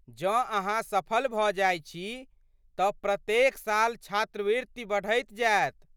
जँ ,अहाँ सफल भऽ जाइत छी तँ प्रत्येक साल छात्रवृति बढ़ैत जायत।